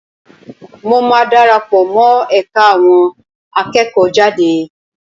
Mo máa dara pọ̀ mọ́ ẹ̀ka àwọn akẹ́kọ̀ọ́jade